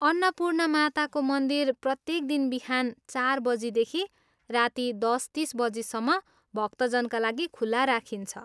अन्नपूर्णा माताको मन्दिर प्रत्येक दिन बिहान चार बजीदेखि राति दस तिस बजीसम्म भक्तजनका लागि खुला राखिन्छ।